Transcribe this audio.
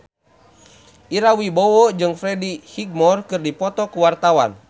Ira Wibowo jeung Freddie Highmore keur dipoto ku wartawan